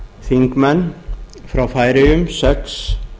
þingmenn frá færeyjum sex